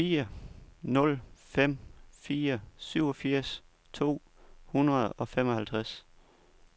fire nul fem fire syvogfirs to hundrede og femoghalvtreds